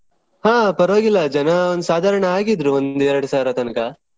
ಹಾ ಪರವಾಗಿಲ್ಲ ಜನ ಒಂದು ಸಾಧಾರಣ ಆಗಿದ್ರೂ ಒಂದು ಎರಡು ಸಾವಿರ ತನಕ.